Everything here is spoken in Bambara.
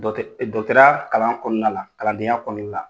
kalan kɔnɔna la kalandenya ya kɔnɔna la